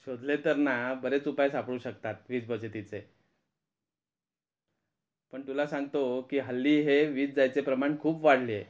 शोधले तर ना बरेच उपाय सापडू शकतात वीज बचतीचे पण तुला सांगतो कि हल्ली हे विज जायचे प्रमाण खूप वाढले आहे.